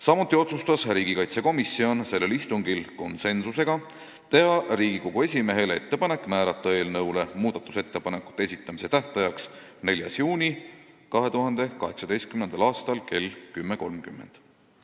Samuti otsustas riigikaitsekomisjon konsensusega teha Riigikogu esimehele ettepaneku määrata muudatusettepanekute esitamise tähtajaks 4. juuni kell 10.30.